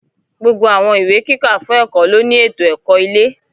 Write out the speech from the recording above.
Gbogbo Àwọn ìwé kíkà fún ẹ̀kọ́ ló ní ètò ẹ̀kọ́ ilé